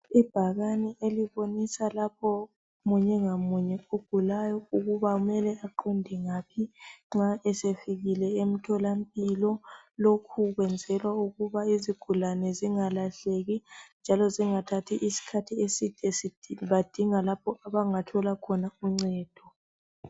Ibhakane elibonisa lapho munye ngamunye ogulayo ukuba kumele aqonde ngaphi nxa esefikile emtholampilo. Lokhu kwenzelwa ukuba izigulane zingalahleki njalo zingathathi isikhathi eside bedinga lapho abangathola khona uncedo.